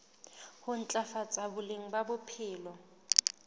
ho ntlafatsa boleng ba bophelo